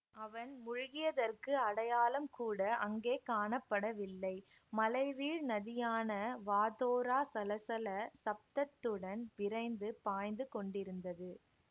அவன் முழுகியதற்கு அடையாளம் கூட அங்கே காணப்படவில்லை மலை வீழ் நதியான வாதோரா சலசல சப்தத்துடன் விரைந்து பாய்ந்து கொண்டிருந்தது